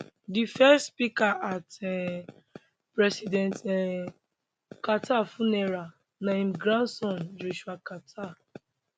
di first speaker at um president um carter funeral na im grandson joshua carter